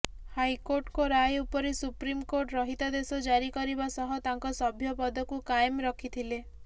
ହାଇକୋର୍ଟଙ୍କ ରାୟ ଉପରେ ସୁପ୍ରିମକୋର୍ଟ ରହିତାଦେଶ ଜାରି କରିବା ସହ ତାଙ୍କ ସଭ୍ୟ ପଦକୁ କାଏମ୍ ରଖିଥିଲେ